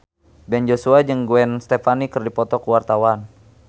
Ben Joshua jeung Gwen Stefani keur dipoto ku wartawan